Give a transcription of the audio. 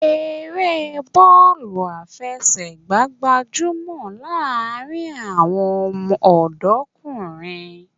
Eré bọ́ọ̀lù àfẹsẹ̀gbá gbajúmọ̀ láàárín àwọn ọ̀dọ́kùnrin